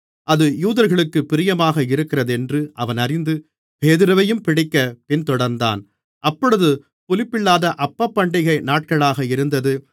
அது யூதர்களுக்குப் பிரியமாக இருக்கிறதென்று அவன் அறிந்து பேதுருவையும் பிடிக்கப் பின்தொடர்ந்தான் அப்பொழுது புளிப்பில்லாத அப்பப்பண்டிகை நாட்களாக இருந்தது